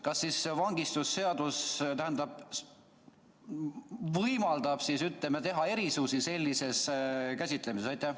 Kas siis vangistusseadus võimaldab selles käsitluses erisusi teha?